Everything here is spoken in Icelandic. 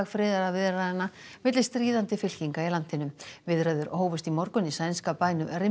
friðarviðræðna milli stríðandi fylkinga í landinu viðræður hófust í morgun í sænska bænum